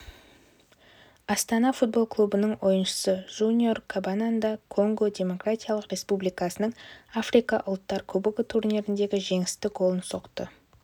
астана футбол клубының ойыншысы жуниор кабананга конго демократиялық республикасының африка ұлттар кубогы турниріндегі жеңісті голын соқты